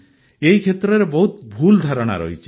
ଏହି କ୍ଷେତ୍ରରେ ବହୁତ ଭୁଲ ଧାରଣା ରହିଛି